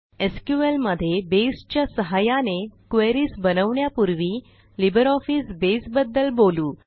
SQL मध्ये Baseच्या सहाय्याने क्वेरीज बनवण्यापूर्वी लिब्रिऑफिसबेस बद्दल बोलू